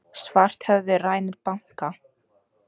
Svarthöfði rænir banka